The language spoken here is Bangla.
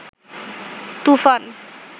তুফান